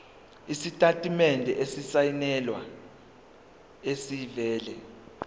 isitatimende esisayinelwe esivela